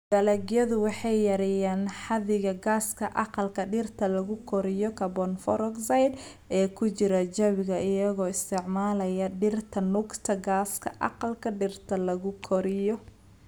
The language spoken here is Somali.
Dalagyadu waxay yareeyaan xadiga gaaska aqalka dhirta lagu koriyo (CO2) ee ku jira jawiga iyagoo isticmaalaya dhirta nuugta gaaska aqalka dhirta lagu koriyo.